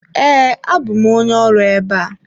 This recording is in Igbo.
Ee, abụ m onye ọrụ ebe a.